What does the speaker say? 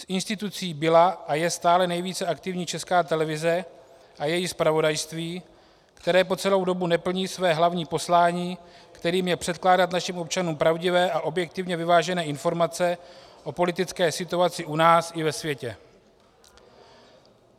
Z institucí byla a stále je nejvíce aktivní Česká televize a její zpravodajství, které po celou dobu neplní své hlavní poslání, kterým je předkládat našim občanům pravdivé a objektivně vyvážené informace o politické situaci u nás i ve světě.